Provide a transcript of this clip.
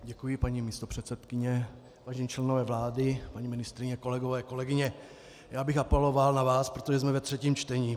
Děkuji, paní místopředsedkyně, vážení členové vlády, paní ministryně, kolegové, kolegyně, já bych apeloval na vás, protože jsme ve třetím čtení.